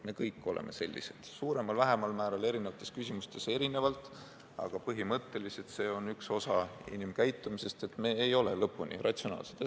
Me kõik oleme sellised, suuremal-vähemal määral ja erinevates küsimustes erinevalt, aga põhimõtteliselt on see üks osa inimkäitumisest, et me ei ole lõpuni ratsionaalsed.